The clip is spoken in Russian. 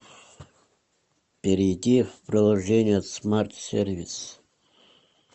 перейди в приложение смарт сервис